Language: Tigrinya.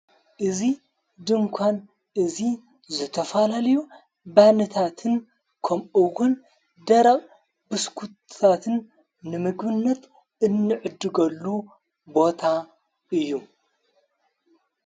እዙ ድንኳን እዙ ዝተፋላልዮ ባንታትን ከምኡውን ደራብ ብስኲትትን ንምግብነት እንዕድጐሉ ቦታ እዩ።